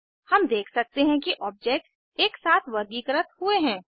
हम देख सकते हैं कि ऑब्जेक्ट्स एकसाथ वर्गीकृत हुए हैं